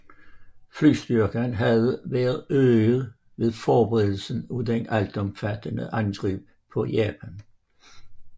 Flystyrken havde været øget ved forberedelsen af det altomfattende angreb på Japan